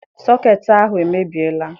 Sọketị ahụ emebiela.